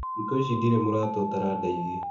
Thikũ ici ndirĩ mũrata ũtaradeithia.